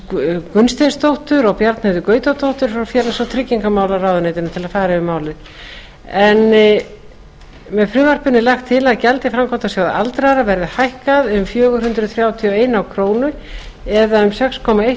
s gunnsteinsdóttur og bjarnheiði gautadóttur frá félags og tryggingamálaráðuneytinu til að fara yfir málið með frumvarpinu er lagt til að gjald í framkvæmdasjóð aldraðra verði hækkað um fjögur hundruð þrjátíu og ein króna eða um sex komma eitt